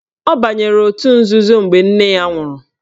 Ọ banyere otu nzuzo mgbe nne ya nwụrụ